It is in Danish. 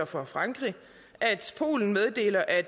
for frankrig at polen meddelte at